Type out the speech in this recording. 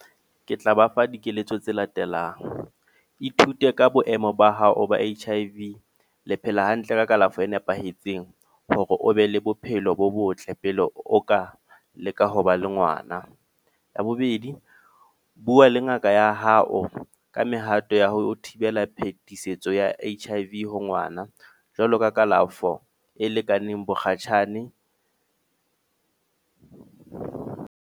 Ke tla ba fa dikeletso tse latelang. Ithute ka boemo ba hao ba H_I_V. Le phela hantle ka kalafo e nepahetseng, hore o be le bophelo bo botle pele o ka leka ho ba le ngwana. Ya bobedi, bua le ngaka ya hao ka mehato ya ho thibela phetisetso ya H_I_V ha ngwana. Jwalo ka kalafo e lekaneng bokgatjhane.